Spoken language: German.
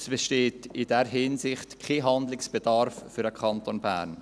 Es besteht in dieser Hinsicht für den Kanton Bern kein Handlungsbedarf.